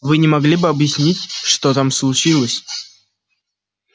вы не могли бы объяснить что там случилось